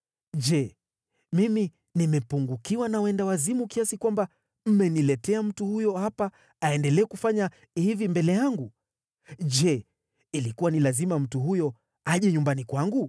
Je, mimi nimepungukiwa na wenda wazimu kiasi kwamba mmeniletea mtu huyo hapa aendelee kufanya hivi mbele yangu? Je, ilikuwa ni lazima mtu huyo aje nyumbani kwangu?”